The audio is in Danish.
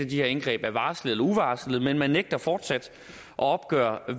de her indgreb er varslede eller uvarslede men man nægter fortsat at opgøre